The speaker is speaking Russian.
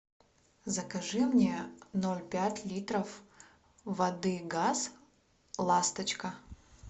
закажи мне ноль пять литров воды газ ласточка